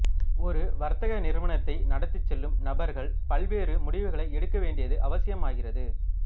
ஒரு வர்த்தக நிறுவனத்தை நடத்திச் செல்லும் நபர்கள் பல்வேறு முடிவுகளை எடுக்கவேண்டியது அவசியம் ஆகிறது